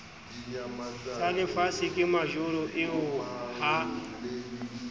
tsalefatshe ke majoro eo ha